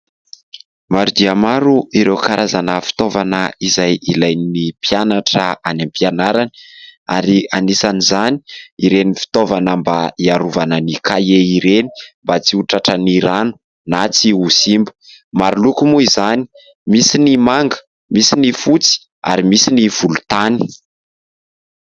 Maro dia maro ireo karazana fitaovana izay ilain'ny mpianatra any am-pianarany ary anisan'izany ireny fitaovana mba iarovana ny kahie ireny mba tsy ho tratran'ny rano na tsy ho simba. Maro loko moa izany : misy ny manga, misy ny fotsy ary misy ny volontany.